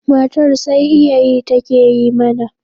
Matar sai iyayi take yi mana